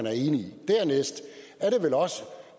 er enig i dernæst